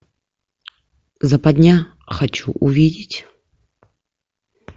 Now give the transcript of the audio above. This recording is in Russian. западня хочу увидеть